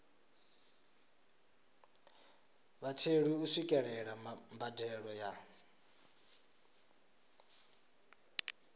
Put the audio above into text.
vhatheli u swikelela mbadelo ya